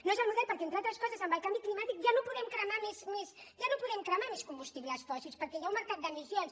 no és el model perquè entre altres coses amb el canvi climàtic ja no podem cremar més combustibles fòssils perquè hi ha un mercat d’emissions